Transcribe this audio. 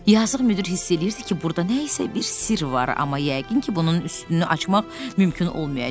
Yazıq müdir hiss eləyirdi ki, burda nə isə bir sirr var, amma yəqin ki, bunun üstünü açmaq mümkün olmayacaq.